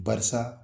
Barisa